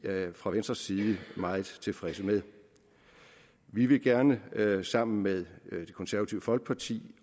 fra venstres side meget tilfredse med vi vil gerne sammen med det konservative folkeparti